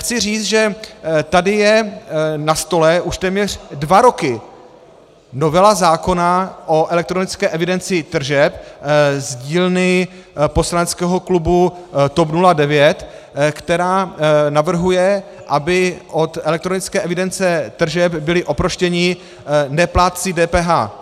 Chci říci, že tady je na stole už téměř dva roky novela zákona o elektronické evidenci tržeb z dílny poslaneckého klubu TOP 09, která navrhuje, aby od elektronické evidence tržeb byli oproštěni neplátci DPH.